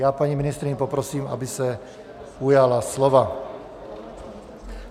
Já paní ministryni poprosím, aby se ujala slova.